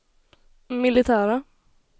militära